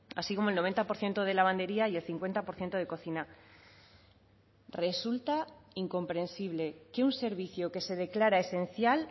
así como el noventa por ciento de lavandería y el cincuenta por ciento de cocina resulta incomprensible que un servicio que se declara esencial